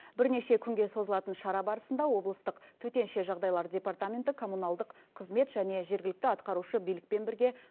бірнеше күнге созылатын шара барысында облыстық төтенше жағыдайлар департаменті коммуналдық қызмет және жергілікті атқарушы билікпен бірге